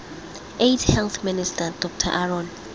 aids health minister dr aaron